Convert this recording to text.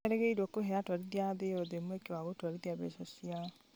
nĩ merĩgĩrĩirwo kũhe atwarithia a a thĩ yothe mweke wa kũhũthĩra mbeca ciao.